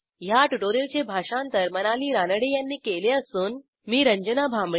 ह्या ट्युटोरियलचे भाषांतर मनाली रानडे यांनी केले असून मी आपला निरोप घेते